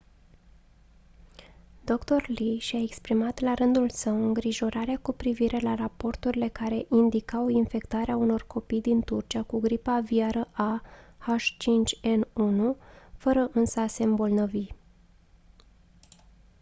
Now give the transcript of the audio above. dr. lee și-a exprimat la rândul său îngrijorarea cu privire la raporturile care indicau infectarea unor copii din turcia cu gripa aviară a h5n1 fără însă a se îmbolnăvi